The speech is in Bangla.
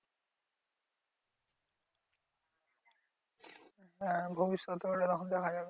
হ্যাঁ ভবিষ্যতে ওটা তখন দেখা যাবে।